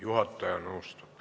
Juhataja nõustub.